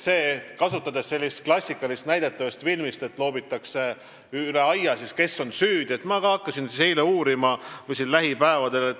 Kui kasutada sellist klassikalist näidet ühest filmist, siis seal loobitakse surnud koera üle aia, sest pole teada, kes on süüdi.